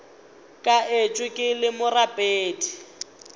ka etšwe ke le morapedi